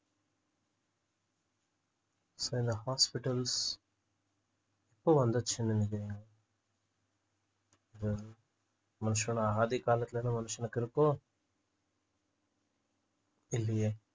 so இந்த hospitals எப்போ வந்துச்சுனு நினைக்குறீங்க அது மனுஷனோட ஆதிகாலத்துல இருந்து மனுஷனுக்கு இருக்கோ இல்லையே